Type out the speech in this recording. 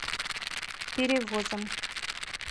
перевозом